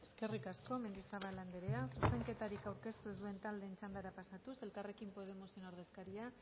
eskerrik asko mendizabal andrea zuzenketarik aurkeztu ez duten taldeen txandara pasatuz elkarrekin podemos ordezkaria